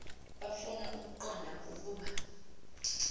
bafuna ukuqonda ukuba